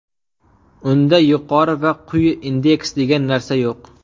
Unda yuqori va quyi indeks degan narsa yo‘q.